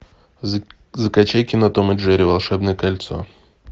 закачай кино том и джерри волшебное кольцо